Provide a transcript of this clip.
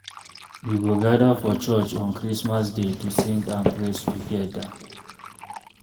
We go gather for church on Christmas day to sing and praise together.